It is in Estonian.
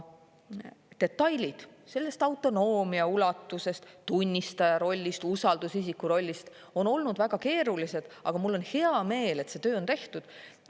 Detailid sellest autonoomia ulatusest, tunnistaja rollist, usaldusisiku rollist on olnud väga keerulised, aga mul on hea meel, et see töö on tehtud.